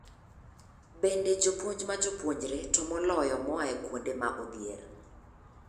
Bende jopuonj ma jopuonjre, to moloyo moa kuonde ma odhier